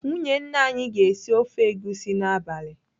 Nwunye nna anyị aga esi ofe egusi n'abalị?